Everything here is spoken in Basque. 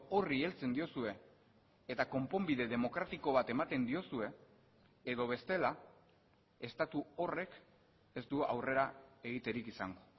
horri heltzen diozue eta konponbide demokratiko bat ematen diozue edo bestela estatu horrek ez du aurrera egiterik izango